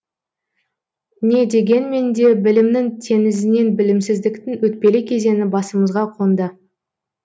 не дегенмен де білімнің теңізінен білімсіздіктің өтпелі кезеңі басымызға қонды